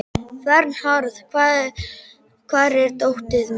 Vernharð, hvar er dótið mitt?